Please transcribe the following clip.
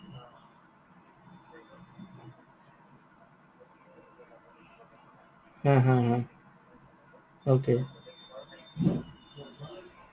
হা, হা, হা। okay